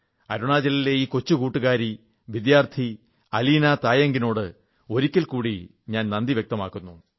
അരുണാചലിലെ ഈ കൊച്ചു കൂട്ടുകാരി വിദ്യാർഥി അലീനാ തായംഗിനോട് ഒരിക്കൽ കൂടി ഞാൻ നന്ദി വ്യക്തമാക്കുന്നു